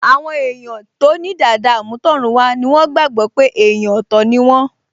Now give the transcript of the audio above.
Àwọn èèyàn tó ní dàda àmútọ̀runwá ni wọ́n gbàgbọ́ pé èèyàn ọ̀tọ̀ ni wọ́n